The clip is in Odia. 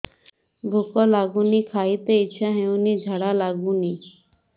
ଭୁକ ଲାଗୁନି ଖାଇତେ ଇଛା ହଉନି ଝାଡ଼ା ଲାଗୁନି